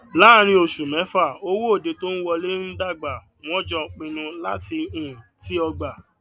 láàrín osù mẹfà owó òde tó wolé ń dàgbà wọn jọ pinnu láti um ti ọgba